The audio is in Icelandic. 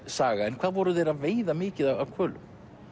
saga en hvað voru þeir að veiða mikið af hvölum